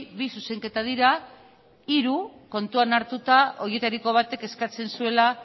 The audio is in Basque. bi zuzenketa dira hiru kontuan hartuta horietariko batek eskatzen zuela